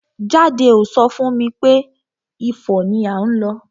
Jade ò so fún mi pé Ifo ni à ń lọ.